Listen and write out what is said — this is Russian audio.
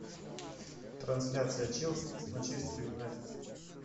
трансляция челси с манчестер юнайтед